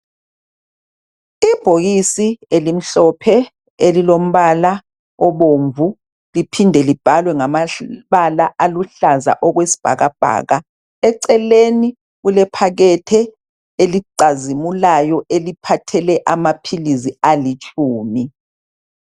Ibhokisi elimhlophe, elilombala obomvu. Liphinde libhalwe ngamabala aluhlaza okwesibhakabhaka. Eceleni kulephakethe elicazimulayo. Eliphathele amaphilisi alitshumi.